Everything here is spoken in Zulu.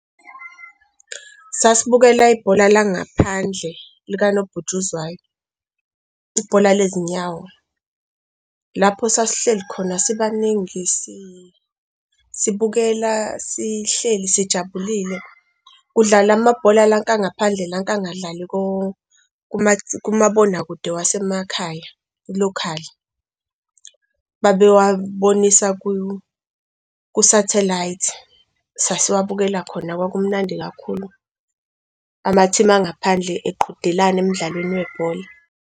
Sasibukela ibhola langaphandle lika nobhutshuzwayo, ibhola lezinyawo lapho sasihleli khona. Sibaningi sibukela sihleli, sijabulile kudlala amabhola lanka ngaphandle lanka angadlali kumabonakude wasemakhaya i-locally babe wabonisa ku-satellite sasiwabukela khona. Kwakumnandi kakhulu ama-team angaphandle eqhudelana emdlalweni webhola.